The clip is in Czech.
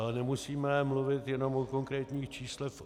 Ale nemusíme mluvit jenom o konkrétních číslech.